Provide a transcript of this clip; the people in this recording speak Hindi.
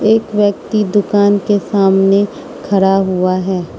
एक व्यक्ति दुकान के सामने खरा हुआ है।